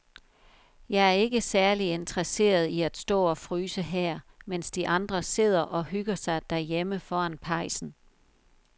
Jeg er ikke særlig interesseret i at stå og fryse her, mens de andre sidder og hygger sig derhjemme foran pejsen.